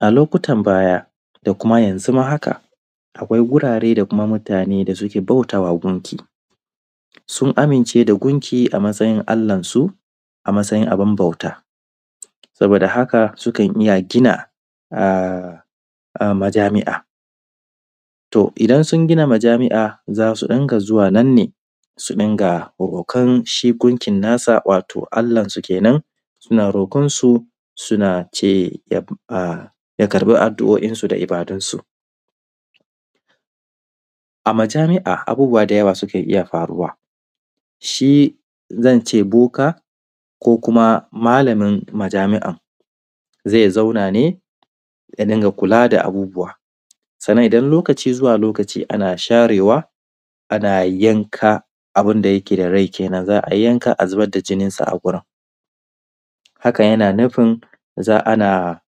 A lokutan baya da kuma yanzu ma haka akwai wurare da kuma mutane da suke bautawa gunki, sun amince da gunki a matsayin Allansu a matsayin abin bauta saboda haka sukan iya gina majami’a. To, idan sunn gina majami’a za su dinga zuwa nan ne su dinga bautan shingunkinsu wato allansu kenan suna roƙansu suna ce ya ƙarbi adduo’insu da ibadunsu a majami’a. Abubuwa da yawan sukan iya faruwa shin zance boka ko kuma malamin majami’an ze zauna ne ya dinga kula da abubuwan sannan idan lokaci zuwa lokaci ana sharewa na yanka abin da yake da rai kenan za a yanka a zubar da jininsa a wurin. Hakan yana nufin ana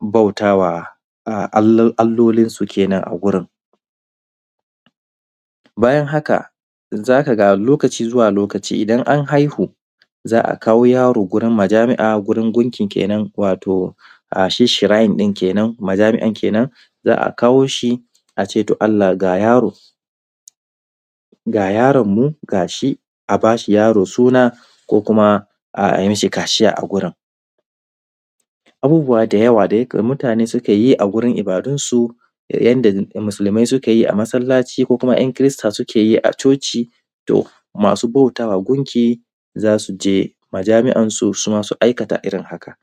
bauta ma allolinsu kenan a wurin bayan haka za ka ga lokaci zuwa lokaci idan an haihu za a kawo yaro wurin majami’a wurin gunkin kenan shi shirain ɗin kenan, majami’an kenan a ce Allah ga yaro ga yaronmu a ba shi yaron suna ko kuma a yi mi shi kaciya a wurin, abubuwa da yawa da mutane sukan yi a wurin ibadunsu yanda musulmi suke yi a masallaci ko kuma kirista suke yi a coci. To, masu bauta ma gunki za su je majami’ansu suma su aikata irin haka.